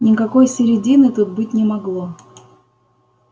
никакой середины тут быть не могло